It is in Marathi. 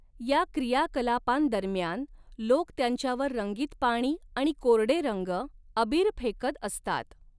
या क्रियाकलापांदरम्यान लोक त्यांच्यावर रंगीत पाणी आणि कोरडे रंग, अबीर फेकत असतात.